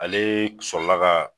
Ale sɔrɔ la ka.